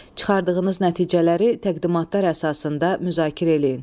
Çıxardığınız nəticələri təqdimatlar əsasında müzakirə eləyin.